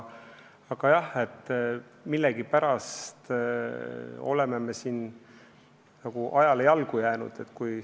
Aga jah, millegipärast oleme siin nagu ajale jalgu jäänud.